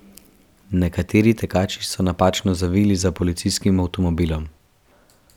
Nekateri tekači so napačno zavili za policijskim avtomobilom.